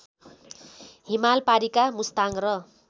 हिमालपारिका मुस्ताङ र